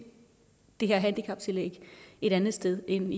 det her handicaptillæg et andet sted end inden